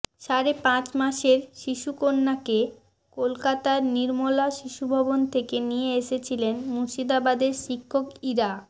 সাড়ে পাঁচ মাসের শিশুকন্যাকে কলকাতার নির্মলা শিশুভবন থেকে নিয়ে এসেছিলেন মুর্শিদাবাদের শিক্ষক ইরা